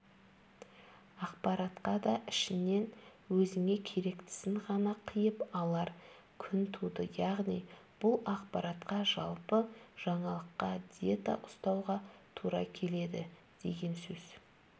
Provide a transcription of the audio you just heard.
ақпаратқа да ішінен өзіңе керектісін ғана қиып алар күн туды яғни бұл ақпаратқа жалпы жаңалыққа диета ұстауға тура келеді деген сөз